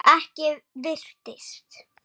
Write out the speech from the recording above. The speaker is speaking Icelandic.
Ekki virtist